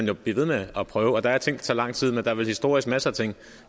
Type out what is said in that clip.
jo blive ved med at prøve der er ting der tager lang tid men der er vel historisk masser af ting